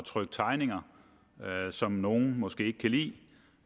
trykke tegninger som nogle måske ikke kan lide